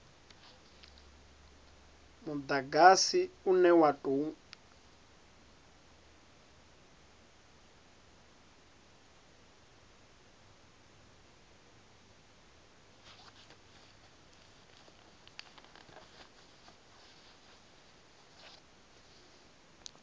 mudagasi une wa u tou